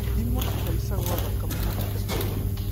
Thima kũhaica gwa thakame mahinda kwa mahinda.